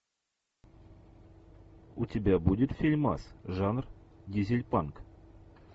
у тебя будет фильмас жанр дизель панк